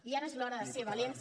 i ara és l’hora de ser valents